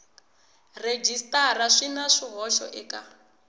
rhejisitara swi na swihoxo eka